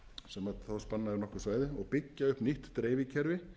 sem þó spannaði nokkurt svæði og byggja upp nýtt dreifikerfi